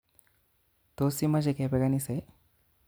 Tos imoche kepe kanisa ii?